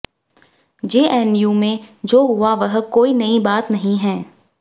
JNU में जो हुआ वह कोई नई बात नहीं है